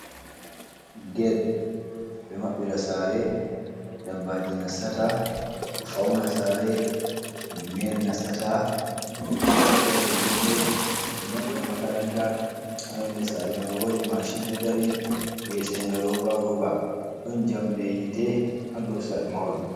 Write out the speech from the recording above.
Get be maɓɓira sare. Ɗabbaji nasata. Ɗo fauna sare. Himbe meri nasata. Be maɓɓira julurɗe. Be maɓɓira makaranta. Ha ƴonɗe sare mai woɗi mashin ɗo ɗari we'etega roba roba. Ɗon jamɗe hite ha ɗow mahol.